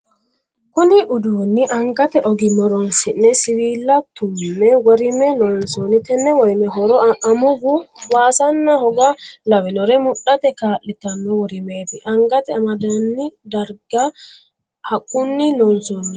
Kunni uduunni angate ogimma horoonsi'ne siwiila tume worime loonsoonni. Tenne worime horo amuuwu waasanna hoga lawinore mudhate kaa'litano. Worimete angate amandanni darga haqunni loonsoonni.